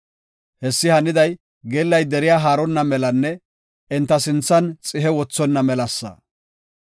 Hessi haniday geellay deriya haaronna melanne enta sinthan xihe wothonna melasa.